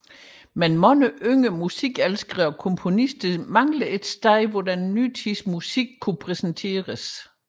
Men mange yngre musikelskere og komponister savnede et sted hvor den nye tids musik kunne præsenteres